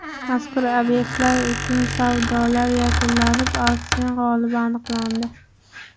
Mazkur obyektlar uchun savdolar yakunlanib, auksion g‘olibi aniqlandi.